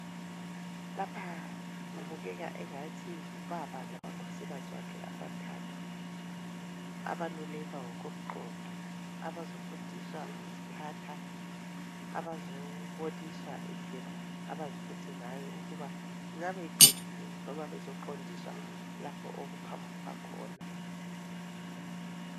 Lapha kubukeka engathi ngubaba lamakhosikazi akhe amathathu abalulekwa ngokomqondo, abazofundiswa ukuziphatha, abazoboniswa indlela abaziphethe ngayo ukuba ingabe iqondile noma bezoqondiswa lapho okuphambuka khona.